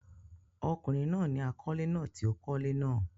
ọkùnrin náà ni àkọ́lé náà tí ó kọ́lé náà.